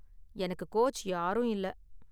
எனக்கு கோச் யாரும் இல்ல.